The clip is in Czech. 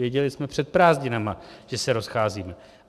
Věděli jsme před prázdninami, že se rozcházíme.